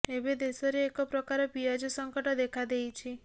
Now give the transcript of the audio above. ଏବେ ଦେଶରେ ଏକ ପ୍ରକାର ପିଆଜ ସଙ୍କଟ ଦେଖା ଦେଇଛି